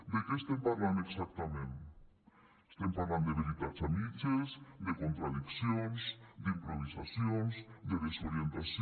de què estem parlant exactament estem parlant de veritats a mitges de contradiccions d’improvisacions de desorientació